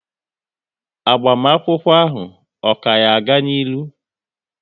Agbamakwụkwọ ahụ, ọ ka yá ga n'ilu?